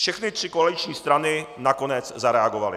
Všechny tři koaliční strany nakonec zareagovaly.